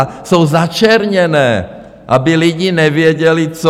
A jsou začerněné, aby lidé nevěděli, co.